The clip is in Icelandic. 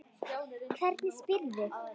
Hvernig spyrðu.